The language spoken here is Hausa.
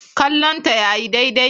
Kallonta yayi daidai.